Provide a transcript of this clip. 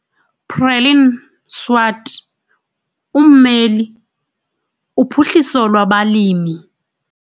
Preline Swart - Ummeli- Uphuhliso lwabaLimi